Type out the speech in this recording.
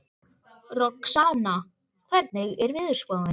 Roxanna, hvernig er veðurspáin?